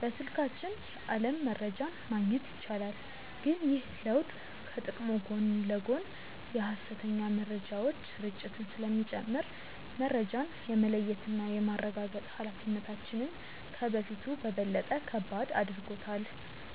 በስልካችን የዓለም መረጃን ማግኘት ይቻላል። ግን ይህ ለውጥ ከጥቅሙ ጎን ለጎን የሐሰተኛ መረጃዎች ስርጭትን ስለሚጨምር፣ መረጃን የመለየትና የማረጋገጥ ኃላፊነታችንን ከበፊቱ በበለጠ ከባድ አድርጎታል።